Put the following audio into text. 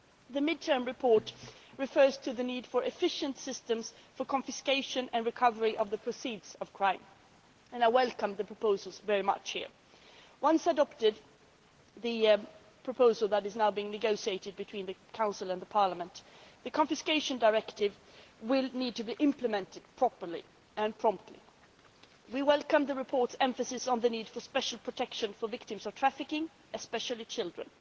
The mid term report refers to the need for efficient systems for the confiscation and recovery of the proceeds of crime and I welcome the proposals here. Once adopted, the proposal which is now being negotiated between the Council and the Parliament the Confiscation Directive will need to be implemented properly and promptly. We welcome the report's emphasis on the need for special protection for victims of trafficking, especially children.